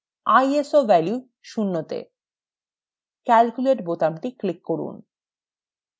iso value শূন্য তে calculate বোতামটি click করুন